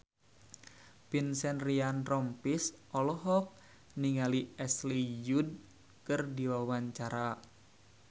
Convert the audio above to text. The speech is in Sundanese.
Vincent Ryan Rompies olohok ningali Ashley Judd keur diwawancara